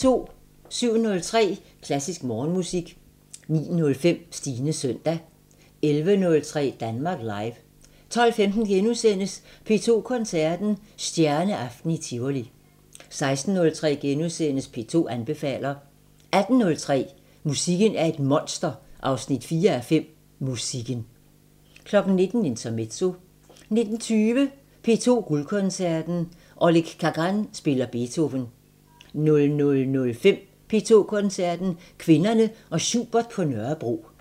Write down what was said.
07:03: Klassisk Morgenmusik 09:05: Stines søndag 11:03: Danmark Live 12:15: P2 Koncerten – Stjerneaften i Tivoli * 16:03: P2 anbefaler * 18:03: Musikken er et monster 4:5 – Musikken 19:00: Intermezzo 19:20: P2 Guldkoncerten: Oleg Kagan spiller Beethoven 00:05: P2 Koncerten – Kvinderne og Schubert på Nørrebro